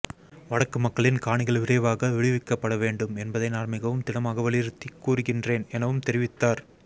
வடக்கு மக்களின் காணிகள் விரைவாக விடுவிக்கப்பட வேண்டும் என்பதை நான் மிகவும் திடமாக வலியுறுத்திக் கூறுகின்றேன் எனவும் தெரிவித்தார்